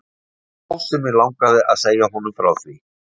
Það var þá sem mig langaði að segja honum frá því.